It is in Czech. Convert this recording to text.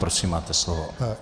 Prosím máte slovo.